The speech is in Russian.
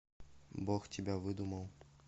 бог тебя выдумал